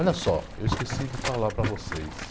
Olha só, eu esqueci de falar para vocês.